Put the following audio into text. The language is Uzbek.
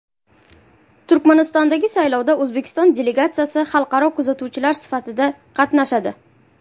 Turkmanistondagi saylovda O‘zbekiston delegatsiyasi xalqaro kuzatuvchilar sifatida qatnashadi.